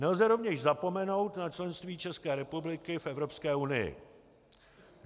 Nelze rovněž zapomenout na členství České republiky v Evropské unii.